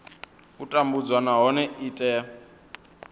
u tambudzwa nahone i tea